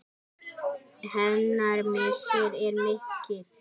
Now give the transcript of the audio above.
Hennar missir er mikill.